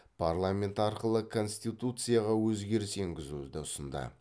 парламент арқылы конституцияға өзгеріс енгізуді ұсынды